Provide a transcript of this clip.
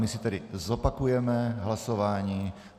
My si tedy zopakujeme hlasování.